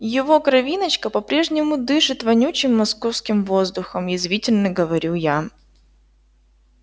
его кровиночка по-прежнему дышит вонючим московским воздухом язвительно говорю я